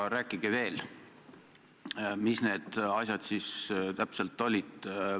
Aga rääkige veel, mis need asjad siis täpselt olid.